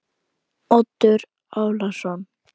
Oddur Ólason.